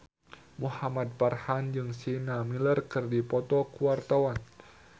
Muhamad Farhan jeung Sienna Miller keur dipoto ku wartawan